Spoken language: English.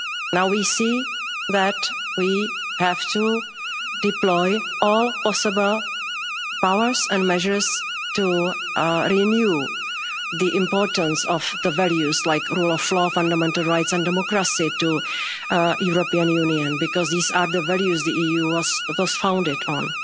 Now we see that we have to deploy all possible powers and measures to renew the importance of the values like rule of law, fundamental rights and democracy to the European Union, because these are the values the EU was thus founded on.